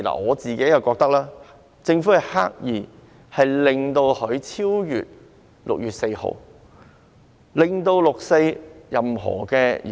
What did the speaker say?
我覺得政府是刻意安排限聚令的實施期限超越6月4日，令到"六四"集會無法舉行。